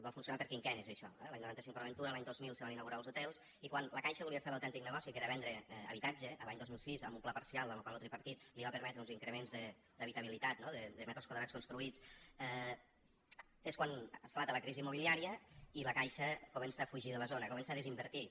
va funcionar per quinquennis això eh l’any noranta cinc port aventura l’any dos mil se van inaugurar els hotels i quan la caixa volia fer l’autèntic negoci que era vendre habitatge l’any dos mil sis amb un pla parcial en lo qual lo tripartit li va permetre uns increments d’habitabilitat no de metres quadrats construïts és quan esclata la crisi immobiliària i la caixa comença a fugir de la zona comença a desinvertir hi